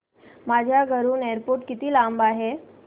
माझ्या घराहून एअरपोर्ट किती लांब आहे